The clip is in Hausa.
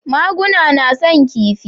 Maguna na son kifi